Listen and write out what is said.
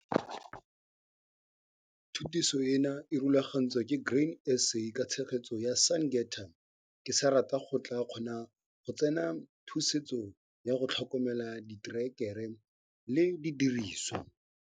Thutiso ena e rulagantswe ke Grain SA ka tshegetso ya Syngenta. Ke sa rata go tlaa kgona go tsena thutiso ya Go tlhokomela diterekere le didiriswa.